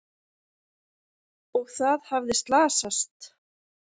Og það hafði slasast!